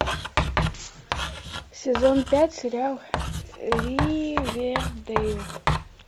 сезон пять сериал ривердейл